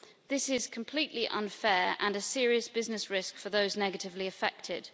This is completely unfair and a serious business risk for those negatively affected.